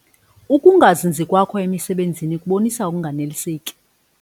Uukungazinzi kwakho emisebenzini kubonisa ukunganeliseki.